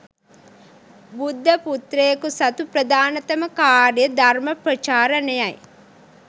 බුද්ධ පුත්‍රයකු සතු ප්‍රධානතම කාර්යය ධර්ම ප්‍රචාරණයයි.